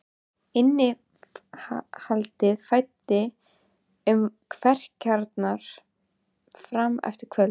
Innihaldið flæddi um kverkarnar fram eftir kvöldi.